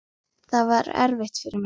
Það var erfitt fyrir mig.